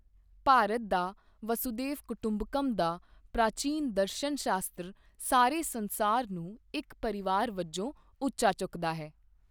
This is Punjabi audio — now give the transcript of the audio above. ਭਾਰਤ ਦਾ ਵਾਸੂਧੈਵ ਕੁਟੰਬਕਮ ਦਾ ਪ੍ਰਾਚੀਨ ਦਰਸ਼ਨ ਸ਼ਾਸਤਰ ਸਾਰੇ ਸੰਸਾਰ ਨੂੰ ਇਕ ਪਰਿਵਾਰ ਵਜੋਂ ਉੱਚਾ ਚੁੱਕਦਾ ਹੈ।